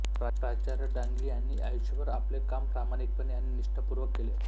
प्राचार्य डांगे यांनी आयुष्यभर आपले काम प्रामाणिकपणे आणि निष्ठापूर्वक केले